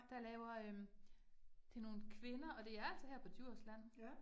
Der laver øh det nogle kvinder, og det er altså her på Djursland